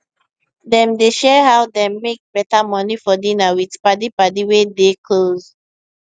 dem dey share how dem make beta money for dinner with paddy paddy wey dey close